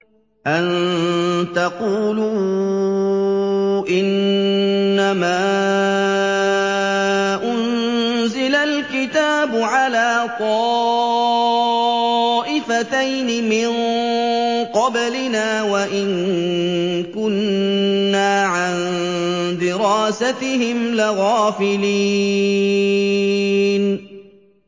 أَن تَقُولُوا إِنَّمَا أُنزِلَ الْكِتَابُ عَلَىٰ طَائِفَتَيْنِ مِن قَبْلِنَا وَإِن كُنَّا عَن دِرَاسَتِهِمْ لَغَافِلِينَ